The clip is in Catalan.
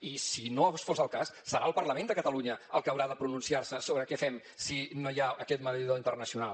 i si no fos el cas serà el parlament de catalunya el que haurà de pronunciar se sobre què fem si no hi ha aquest mediador internacional